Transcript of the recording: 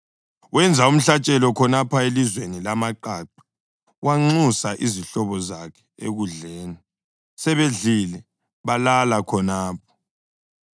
Wenza umhlatshelo khonapho elizweni lamaqaqa wanxusa izihlobo zakhe ekudleni. Sebedlile, balala khonapho.